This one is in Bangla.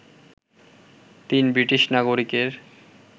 তিন ব্রিটিশ নাগরিকের